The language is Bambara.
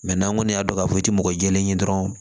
n'an kɔni y'a dɔn k'a fɔ i ti mɔgɔ mɔgɔ kelen ye dɔrɔnw